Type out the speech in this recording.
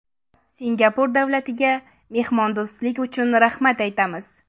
Singapur davlatiga mehmondo‘stlik uchun rahmat aytamiz.